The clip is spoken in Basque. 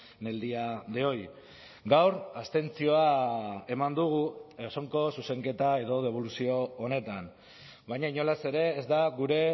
en el día de hoy gaur abstentzioa eman dugu osoko zuzenketa edo deboluzio honetan baina inolaz ere ez da gure